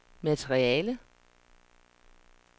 materiale